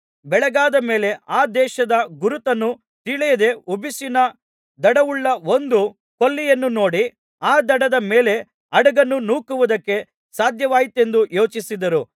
ಬೆಳಗಾದ ಮೇಲೆ ಆ ದೇಶದ ಗುರುತನ್ನು ತಿಳಿಯದೆ ಉಸುಬಿನ ದಡವುಳ್ಳ ಒಂದು ಕೊಲ್ಲಿಯನ್ನು ನೋಡಿ ಆ ದಡದ ಮೇಲೆ ಹಡಗನ್ನು ನೂಕುವುದಕ್ಕೆ ಸಾಧ್ಯವಾದೀತೆಂದು ಯೋಚಿಸಿದರು